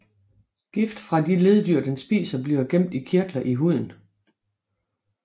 Gift fra de leddyr den spiser bliver gemt i kirtler i huden